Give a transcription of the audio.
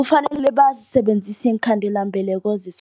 Kufanele bazisebenzise iinkhandelambeleko